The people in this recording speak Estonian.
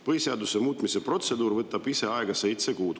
Põhiseaduse muutmise protseduur võtab ise aega seitse kuud.